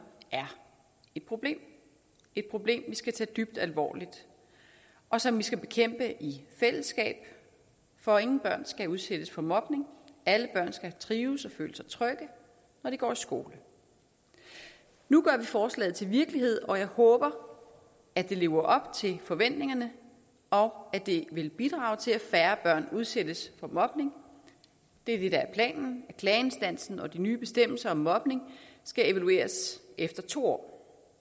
er et problem et problem vi skal tage dybt alvorligt og som vi skal bekæmpe i fællesskab for ingen børn skal udsættes for mobning alle børn skal trives og føle sig trygge når de går i skole nu gør vi forslaget til virkelighed og jeg håber at det lever op til forventningerne og at det vil bidrage til at færre børn udsættes for mobning det er det der er planen klageinstansen og den nye bestemmelse om mobning skal evalueres efter to år